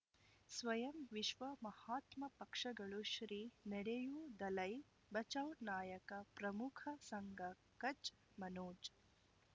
ಸ್ವಯಂ ವಿಶ್ವ ಮಹಾತ್ಮ ಪಕ್ಷಗಳು ಶ್ರೀ ನಡೆಯೂ ದಲೈ ಬಚೌ ನಾಯಕ ಪ್ರಮುಖ ಸಂಘ ಕಚ್ ಮನೋಜ್